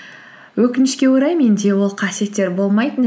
өкінішке орай менде ол қасиеттер болмайтын